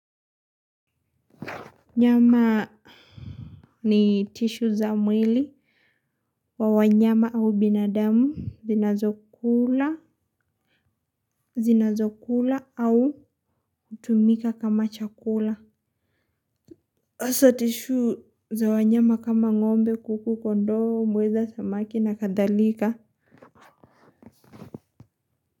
Nyama ni tisho za mwili. Wanyama au binadamu zinazokula zinazokula au kutumika kama chakula hasa tishuu za wanyama kama ngombe kuku kondoo mweza samaki na kadhalika.